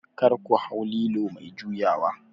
kar ku hau lilo mai juyawa?